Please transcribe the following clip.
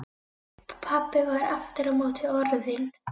Pabbi var aftur á móti orðinn